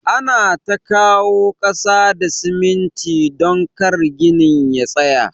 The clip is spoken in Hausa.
Ana ta kawo kasa da siminti don kar ginin ya tsaya.